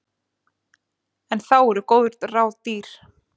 En þá eru góð ráð dýr.